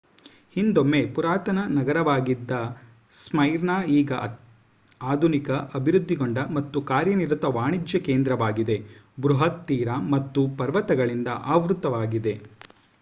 ಹಿಂದೊಮ್ಮೆ ಪುರಾತನ ನಗರವಾಗಿದ್ದ ಸ್ಮೈರ್ನಾ ಈಗ ಆಧುನಿಕ ಅಭಿವೃದ್ಧಿಗೊಂಡ ಮತ್ತು ಕಾರ್ಯನಿರತ ವಾಣಿಜ್ಯ ಕೇಂದ್ರವಾಗಿದೆ ಬೃಹತ್ ತೀರ ಮತ್ತು ಪರ್ವತಗಳಿಂದ ಆವೃತ್ತವಾಗಿದೆ